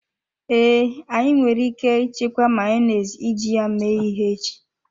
Ee, anyị nwere ike ichekwa Mayonezi iji ya mee ihe echi.